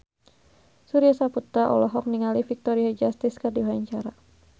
Surya Saputra olohok ningali Victoria Justice keur diwawancara